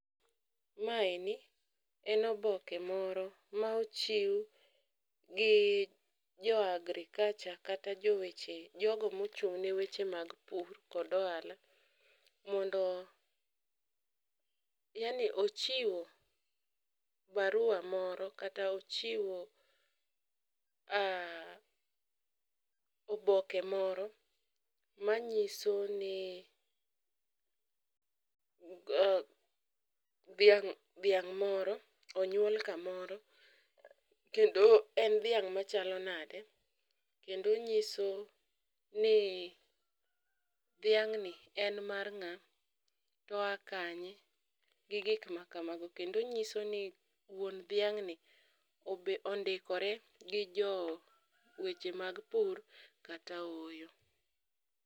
Maeni en oboke moro ma ochiw gi jo agriculture kata jogo mochung' ne weche mag pur kod ohala mondo yaani ochiwo barua moro kata ochiwo oboke moro manyiso ni dhiang' moro onyuol kamoro kendo en dhiang' machalo nade, kendo nyiso ni dhiang'ni en mar ng'a to oa kanye gi gik makamago kendo onyiso ni wuon dhiang'ni ondikore gi jo weche mag pur kata ooyo.